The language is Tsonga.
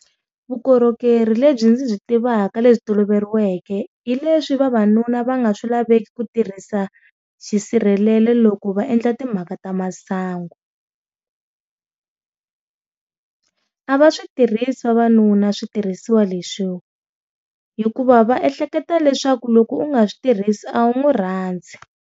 Vukorhokeri lebyi ndzi byi tivaka lebyi toloveriweke hileswi vavanuna va nga swilaveki ku tirhisa xisirhelelo loko va endla timhaka ta masangu. a va switirhisi vavanuna switirhisiwa leswi hikuva va ehleketa leswaku loko u nga swi tirhisi a wu n'wi rhandzi.